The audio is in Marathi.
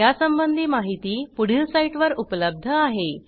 यासंबंधी माहिती पुढील साईटवर उपलब्ध आहे